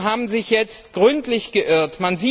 haben sich jetzt gründlich geirrt.